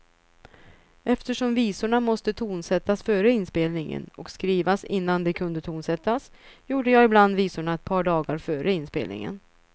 Eftersom visorna måste tonsättas före inspelningen och skrivas innan de kunde tonsättas, gjorde jag ibland visorna ett par dagar före inspelningen.